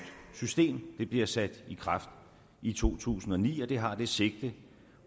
system det bliver sat i kraft i to tusind og ni og det har det sigte